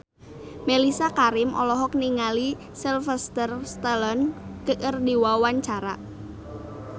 Mellisa Karim olohok ningali Sylvester Stallone keur diwawancara